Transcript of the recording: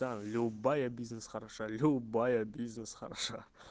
да любая бизнес хороша любая бизнес хороша